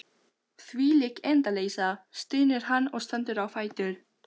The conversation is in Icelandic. Þvílík endaleysa, stynur hann og stendur á fætur.